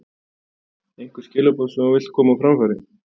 Einhver skilaboð sem þú vilt koma á framfæri?